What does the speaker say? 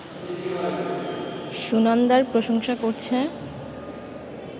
সুনন্দার প্রশংসা করছে